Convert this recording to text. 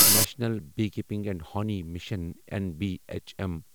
national beekeeping and honey mission نبھم